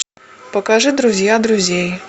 покажи друзья друзей